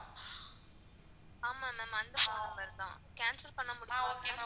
ஆமா ma'am அந்த phone number தான், cancel பண்ண முடியுமா ma'am?